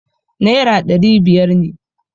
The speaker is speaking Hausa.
Naira ɗari biyar ne.